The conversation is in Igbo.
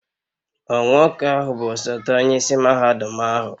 Ọ Nwoke ahu bu osote onye isi mahadum ahu?